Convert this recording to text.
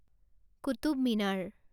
Qutub Minar